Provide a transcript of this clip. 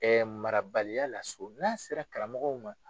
Ɛɛ marabaliya la so n'a sera karamɔgɔw ma